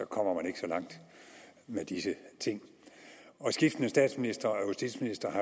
kommer man ikke så langt med disse ting og skiftende statsministre og justitsministre har